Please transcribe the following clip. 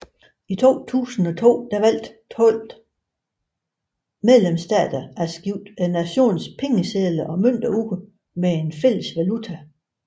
I 2002 valgte 12 medlemsstater at skifte nationale pengesedler og mønter ud med en fælles valuta